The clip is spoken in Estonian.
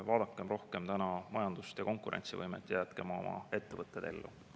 Vaadakem rohkem majandust ja konkurentsivõimet ning jätkem oma ettevõtted ellu.